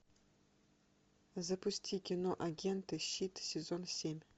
запусти кино агенты щит сезон семь